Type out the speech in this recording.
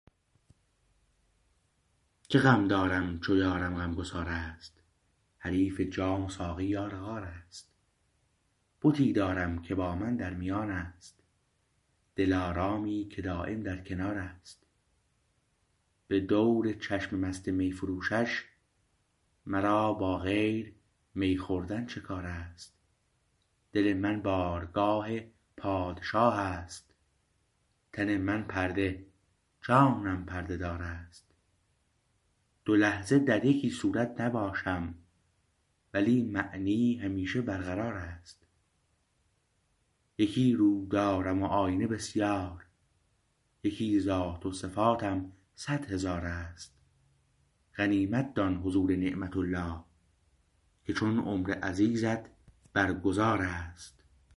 چه غم دارم چو یارم غمگسار است حریف جام و ساقی یار غار است بتی دارم که با من در میان است دلارامی که دایم در کنار است به دور چشم مست می فروشش مرا با غیر می خوردن چه کار است دل من بارگاه پادشاه است تن من پرده جانم پرده دار است دو لحظه در یکی صورت نباشم ولی معنی همیشه برقرار است یکی رو دارم و آیینه بسیار یکی ذات و صفاتم صدهزار است غنیمت دان حضور نعمت الله که چون عمر عزیزت بر گذار است